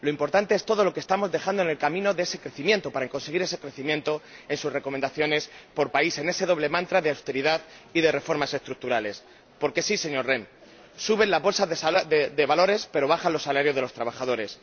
lo importante es todo lo que estamos dejando en el camino para conseguir ese crecimiento aplicando sus recomendaciones por país, ese doble mantra de austeridad y de reformas estructurales. Porque sí, señor Rehn, suben las bolsas de valores pero bajan los salarios de los trabajadores.